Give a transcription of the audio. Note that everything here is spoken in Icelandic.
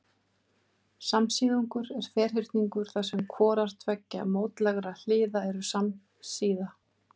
Samsíðungur er ferhyrningur þar sem hvorar tveggja mótlægra hliða eru samsíða.